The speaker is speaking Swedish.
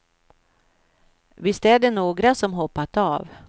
Visst är det några som hoppat av.